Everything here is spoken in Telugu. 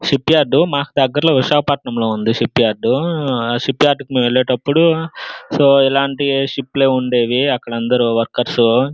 షిప్ యార్డు మాకు దగ్గర్లో విశాఖపట్నంలో లో ఉంది షిప్ యార్డ్ ఉహ్ ఆ షిప్ యార్డుకి వేలేటపుడు సో ఇలాంటి షిప్ లే ఉండేవి అక్కడ అందరు వర్కేర్సు --